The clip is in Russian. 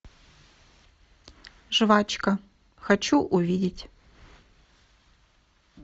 жвачка хочу увидеть